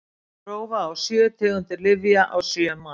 prófa á sjö tegundir lyfja á sjö manns